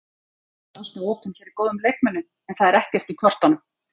Maður er alltaf opinn fyrir góðum leikmönnum en það er ekkert í kortunum.